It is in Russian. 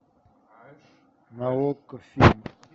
на окко фильм